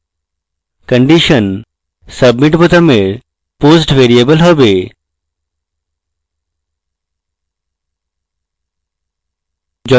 condition submit বোতামের post variable হবে